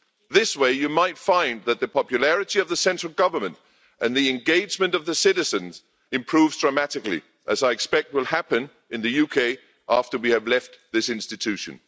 This way you might find that the popularity of the central government and the engagement of the citizens improves dramatically, as I expect will happen in the UK after we have left this institution.